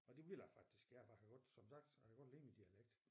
Og det vil jeg faktisk gerne for jeg kan godt som sagt jeg kan godt lide min dialekt